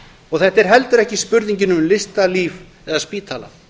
og þetta er heldur ekki spurningin um listalíf eða spítala